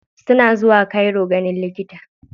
Suna zuwa cairo ganin likita.